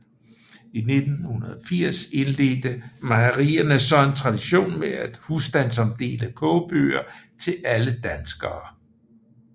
I 1980 indledte Mejerierne så en tradition med at husstandsomdele kogebøger til alle danskere